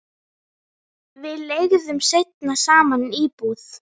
Við leigðum seinna saman íbúð.